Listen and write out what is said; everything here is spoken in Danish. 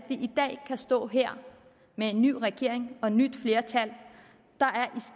i dag kan stå her med en ny regering og et nyt flertal der